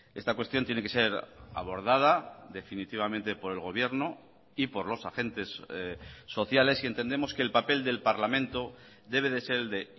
esta cuestión tiene que ser abordada definitivamente por el gobierno y por los agentes sociales y entendemos que el papel del parlamento debe de ser el de